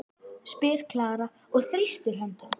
spyr Klara og þrýstir hönd hans.